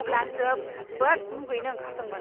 अब्ला आं जोबोद मुगैनो ओंखारदोंमोन!